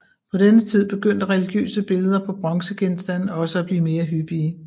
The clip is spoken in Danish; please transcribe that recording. På denne tid begyndte religiøse billeder på bronzegenstande også at blive mere hyppige